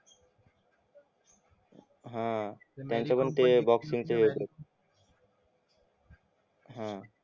हा त्यांचं पण ते बॉक्सिच